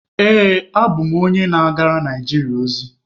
Ee, abụ m onye na-agara Naijiria ozi.